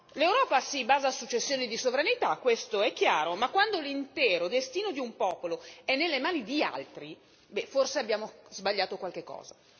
L'Europa si basa su cessioni di sovranità, questo è chiaro, ma quando l'intero destino di un popolo è nelle mani di altri, forse abbiamo sbagliato qualcosa.